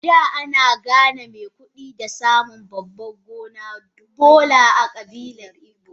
Ada ana gane mai kudi da samun babban gonan Doya a kabilar igbo.